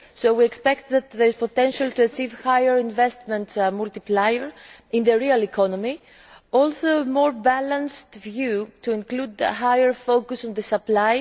We expect that there is potential to achieve a higher investment multiplier in the real economy, and also a more balanced view to include a higher focus on the supply.